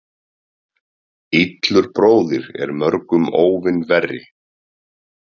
Illur bróðir er mörgum óvin verri.